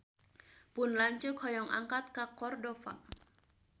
Pun lanceuk hoyong angkat ka Cordova